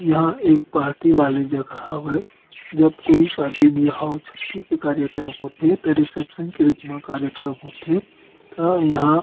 ये हा एक पार्टी वाली जगह हवय जब कोई शादी-बिहाव छट्टी के कार्यक्रम होथे त रिसेप्शन के रूप मा कार्यक्रम होथे त यहाँ--